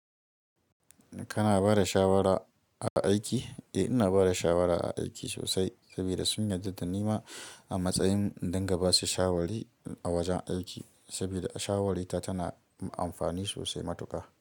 Kana ba da shawara a aiki? Eh, ina ba da shawara a aiki sosai saboda sun yarda da ni ma a matsayin in dunga basu shawari a wajen aiki saboda shawarita tana amfani sosai matuƙa.